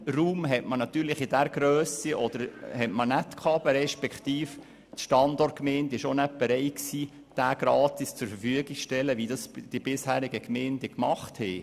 Die Standortgemeinde war nicht bereit, den erforderlichen Raum in dieser Grösse gratis zur Verfügung zu stellen, wie es die bisherigen Gemeinden getan hatten.